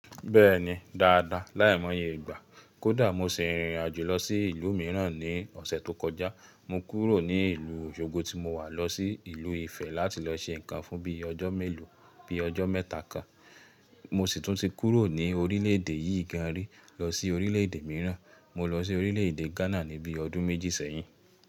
Bẹ́ẹ̀ni dáadáa. Láìmọ̀ye ìgbà, kódà mo ṣe ìrìnàjò lọ sí ìlú mìíràn ní ọ̀sẹ̀ tó kọjá. Mo kúrò ní ìlú Òṣogbo tí mo wà lọ sí ìlú Ifẹ̀ láti lọ ṣe nǹkan fún bíi ọjọ́ mélòó, bíi ọjọ́ mẹ́ta kan. Mo sì tún ti kúrò ní orílẹ̀ èdè yìí gan rí lọ sí orílẹ̀ èdè mìíràn. Mo lọ sí orílẹ̀ èdè Ghana níbi ọdún méjì sẹ́yìn.